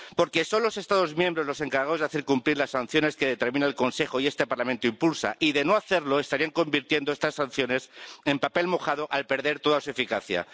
Porque son los Estados miembros los encargados de hacer cumplir las sanciones que determina el Consejo y este Parlamento impulsa, y de no hacerlo estarían convirtiendo estas sanciones en papel mojado al perder toda su eficacia.